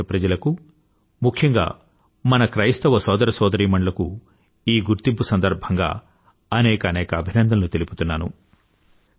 భారతదేశ ప్రజలకు ముఖ్యంగా మన క్రైస్తవ సోదర సోదరిమణులకు ఈ గుర్తింపు సందర్భంగా అనేకానేక అభినందనలు తెలుపుతున్నాను